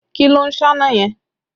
Kí ló ń sáná yẹn?